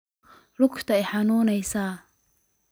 Luugta iixanuneysa.